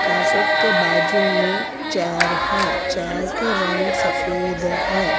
Carpet के बाजू में चेयर है चेयर के रंग सफेद है।